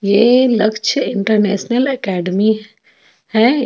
यह Lakshya international academy है.